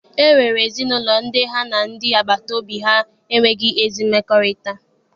E nwere ezinaụlọ ndị ha na ndị agbata obi ha enweghị ezi mmekọrịta.